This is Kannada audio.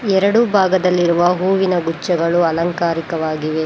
ಎರಡು ಭಾಗದಲ್ಲಿರುವ ಹೂವಿನ ಗುಚ್ಚಗಳು ಅಲಂಕಾರಿಕವಾಗಿವೆ.